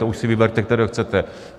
To už si vyberte, který chcete.